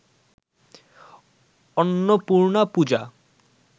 Annapurna Puja